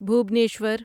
Bhubaneswar